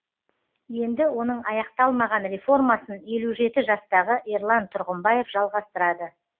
енді оның аяқталмаған реформасын елу жеті жастағы ерлан тұрғымбаев жалғастырады